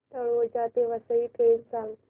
तळोजा ते वसई ट्रेन सांग